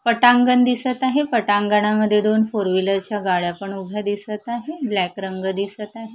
पटांगण दिसत आहे पटांगणामध्ये दोन फोर व्हीलरच्या गाड्या पण उभ्या दिसत आहे ब्लॅक रंग दिसत आहे.